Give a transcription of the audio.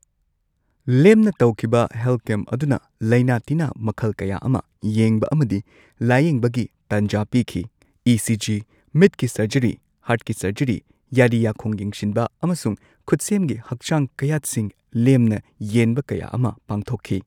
ꯂꯦꯝꯅ ꯇꯧꯈꯤꯕ health camp ꯑꯗꯨꯅ ꯂꯥꯢꯅꯥ ꯇꯤꯟꯅꯥ ꯃꯈꯜ ꯀꯌꯥ ꯑꯃ ꯌꯦꯡꯕ ꯑꯃꯗꯤ ꯂꯥꯢꯌꯦꯡꯕꯒꯤ ꯇꯟꯖꯥ ꯄꯤꯈꯤ꯫ ꯏ ꯁꯤꯖꯤ, ꯃꯤꯠꯀꯤ ꯁꯔꯖꯔꯤ, ꯍꯥꯔꯠꯀꯤ ꯁꯔꯖꯔꯤ, ꯌꯥꯔꯤ ꯌꯥꯈꯣꯡ ꯌꯦꯡꯁꯤꯟꯕ ꯑꯃꯁꯨꯡ ꯈꯨꯠꯁꯦꯝꯒꯤ ꯍꯛꯆꯥꯡ ꯀꯌꯥꯠꯁꯤꯡ ꯂꯦꯝꯅ ꯌꯦꯟꯕ ꯀꯌꯥ ꯑꯃ ꯄꯥꯡꯊꯣꯛꯈꯤ꯫